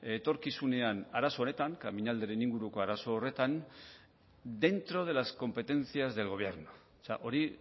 etorkizunean arazo honetan kamiñalderen inguruko arazo horretan dentro de las competencias del gobierno hori